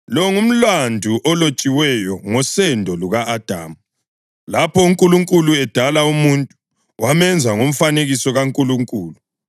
Lo ngumlando olotshiweyo ngosendo luka-Adamu. Lapho uNkulunkulu edala umuntu, wamenza ngomfanekiso kaNkulunkulu.